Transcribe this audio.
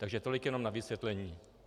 Takže tolik jenom na vysvětlení.